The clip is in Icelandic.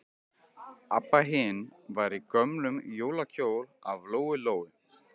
Abba hin var í gömlum jólakjól af Lóu-Lóu.